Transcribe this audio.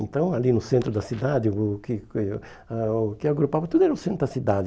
Então, ali no centro da cidade, o que eh ah o que agrupava tudo era o centro da cidade.